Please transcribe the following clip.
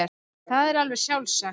Það er alveg sjálfsagt.